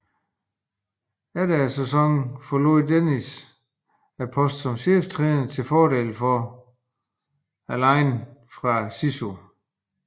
Efter sæsonen forlod Mickey Dennis posten som cheftræner til fordel for Alain Attallah fra SISU